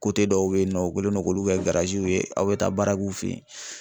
dɔw bɛ yen nɔ u kɛlen don k'olu kɛ ye aw bɛ taa baara k'u fɛ yen